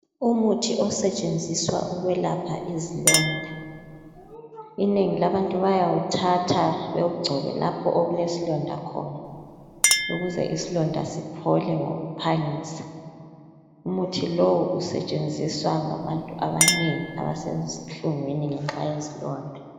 Umuthi osetshenziswa ukuyelapha izilonda inengi labantu bayawuthatha bewungcobe lapha okulesilonda khona ukuze isilonda siphole ngokuphangisa umuthi lowu usetshenziswa ngabantu abanengi abasezinhlungwini ngenxa yezilonda